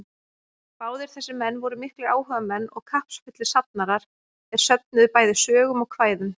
Báðir þessir menn voru miklir áhugamenn og kappsfullir safnarar, er söfnuðu bæði sögum og kvæðum.